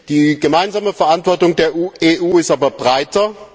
Die gemeinsame Verantwortung der EU ist aber breiter.